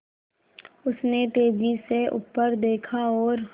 उसने तेज़ी से ऊपर देखा और